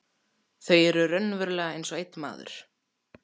Þau eru raunverulega einsog einn maður.